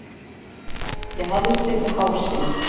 Ég hafði slitið hásin.